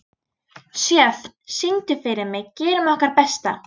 Sjöfn, syngdu fyrir mig „Gerum okkar besta“.